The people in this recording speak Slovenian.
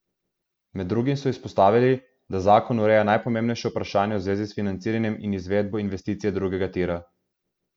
Med drugim so izpostavili, da zakon ureja najpomembnejša vprašanja v zvezi s financiranjem in izvedbo investicije drugega tira.